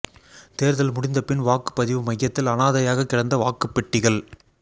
தோ்தல் முடிந்த பின் வாக்குப் பதிவு மையத்தில் அனாதையாகக் கிடந்த வாக்குப் பெட்டிகள்